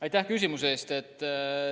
Aitäh küsimuse eest!